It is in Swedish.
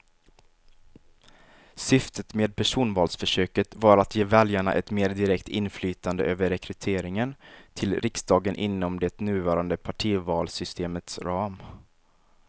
Syftet med personvalsförsöket var att ge väljarna ett mer direkt inflytande över rekryteringen till riksdagen inom det nuvarande partivalssystemets ram.